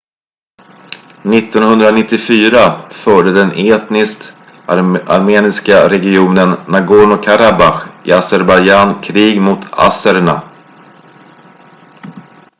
1994 förde den etniskt armeniska regionen nagorno-karabach i azerbajdjzan krig mot azererna